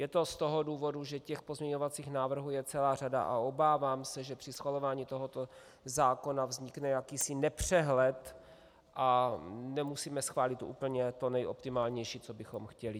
Je to z toho důvodu, že těch pozměňovacích návrhů je celá řada a obávám se, že při schvalování tohoto zákona vznikne jakýsi nepřehled a nemusíme schválit úplně to nejoptimálnější, co bychom chtěli.